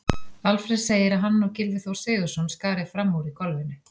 Alfreð segir að hann og Gylfi Þór Sigurðsson skari fram úr í golfinu.